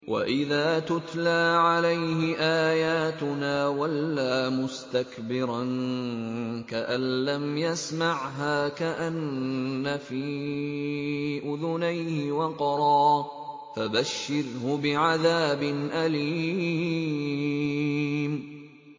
وَإِذَا تُتْلَىٰ عَلَيْهِ آيَاتُنَا وَلَّىٰ مُسْتَكْبِرًا كَأَن لَّمْ يَسْمَعْهَا كَأَنَّ فِي أُذُنَيْهِ وَقْرًا ۖ فَبَشِّرْهُ بِعَذَابٍ أَلِيمٍ